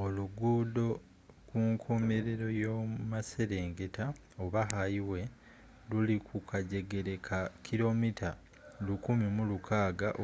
oluguudo kunkomelero y’omumaserengeta oba hayiwe luli kukajegere ka 1600km